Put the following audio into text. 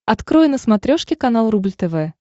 открой на смотрешке канал рубль тв